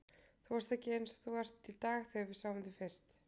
Þú varst ekki eins og þú ert í dag þegar við sáum þig fyrst.